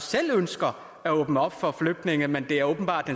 selv ønsker at åbne op for flygtninge men det er åbenbart